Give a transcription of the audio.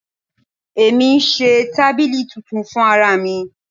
Èmi ń ṣe tábìlì titun fún ara mi.